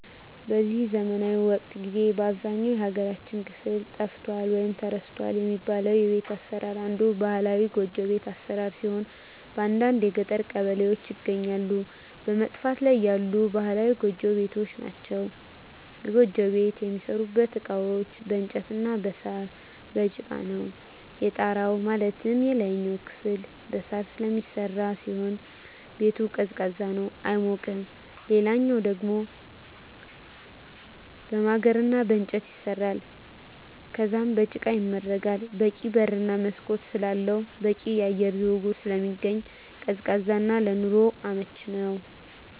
በዚህ ዘመናዊ ወቅት ጊዜ በአብዛኛው የሀገራችን ክፍል ጠፍቷል ወይም ተረስቷል የሚባለው የቤት አሰራር አንዱ ባህላዊ ጎጆ ቤት አሰራር ሲሆን በአንዳንድ የገጠር ቀበሌዎች ይገኛሉ በመጥፋት ላይ ያሉ ባህላዊ ጎጆ ቤቶች ናቸዉ። የጎጆ ቤት የሚሠሩበት እቃዎች በእንጨት እና በሳር፣ በጭቃ ነው። የጣራው ማለትም የላይኛው ክፍል በሳር ስለሚሰራ ሲሆን ቤቱ ቀዝቃዛ ነው አይሞቅም ሌላኛው ደሞ በማገር እና በእንጨት ይሰራል ከዛም በጭቃ ይመረጋል በቂ በር እና መስኮት ስላለው በቂ የአየር ዝውውር ስለሚኖር ቀዝቃዛ እና ለኑሮ አመቺ ነው።